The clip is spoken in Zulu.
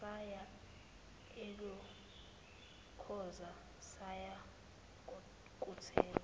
saya elokhoza sayokuthenga